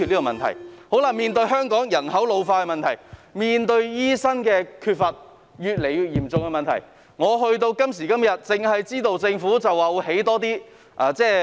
面對香港人口老化，以及醫生人手不足越來越嚴重的問題，政府今時今日只表示會興建更多院舍。